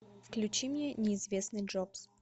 включи мне неизвестный джобс